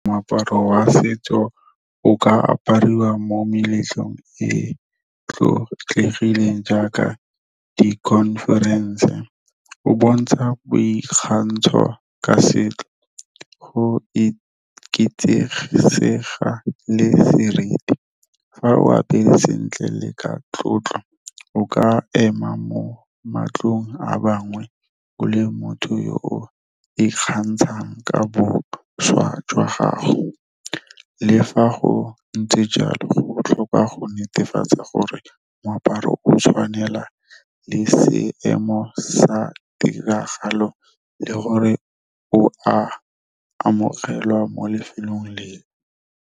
Moaparo wa setso o ka apariwa mo meletlong e tlotlegileng jaaka di-conference o bontsha boikgantsho ka setso go le seriti. Fa o apere sentle le ka tlotlo, o ka ema mo matlhong a bangwe o le motho yo o ikgantshang ka bošwa jwa gago. Le fa go ntse jalo go botlhokwa go netefatsa gore moaparo o tshwanela le seemo sa tiragalo, le gore o a amogelwa mo lefelong leo.